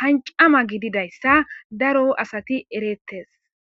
hancama gididayssa daro asati erettes